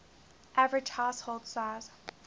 average household size